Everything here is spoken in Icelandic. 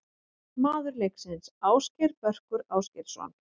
Maður leiksins: Ásgeir Börkur Ásgeirsson.